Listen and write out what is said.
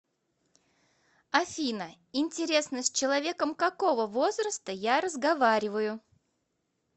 афина интересно с человеком какого возраста я разговариваю